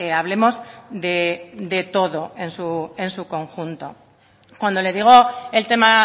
hablemos de todo en su conjunto cuando le digo el tema